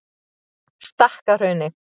Stakkahrauni